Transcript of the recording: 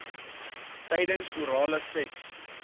tydens orale seks